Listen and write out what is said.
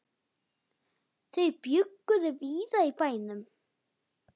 Þau bjuggu víða í bænum.